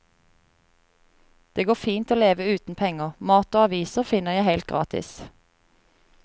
Det går fint å leve uten penger; mat og aviser finner jeg helt gratis.